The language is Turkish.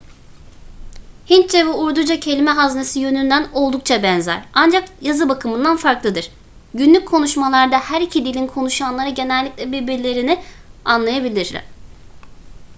hintçe ve urduca kelime haznesi yönünden oldukça benzer ancak yazı bakımından farklıdır günlük konuşmalarda her iki dilin konuşanları genellikle birbirlerini anlayabilir